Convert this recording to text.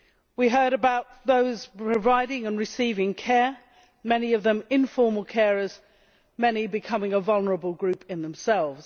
We heard about those providing and receiving care many of them informal carers, many becoming a vulnerable group in themselves.